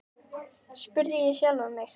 spurði ég sjálfan mig.